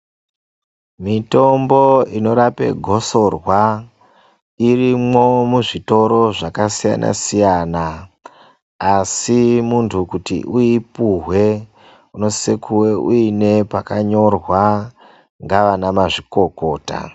Mitombo inorape gosorwa irimwo muzvitoro zvakasiyana-siyana, Asi muntu kuti uipuhwe, unosise kuve uine pakanyorwa ngavanamazvikokota.